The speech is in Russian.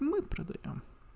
мы продаём